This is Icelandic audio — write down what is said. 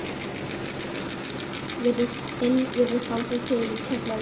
inn virðist halda til í kjallaranum.